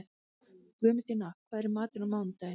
Guðmundína, hvað er í matinn á mánudaginn?